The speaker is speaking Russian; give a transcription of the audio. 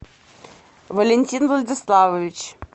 валентин владиславович